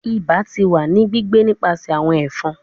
Iba ti wa ni gbigbe nipasẹ awọn ẹfọn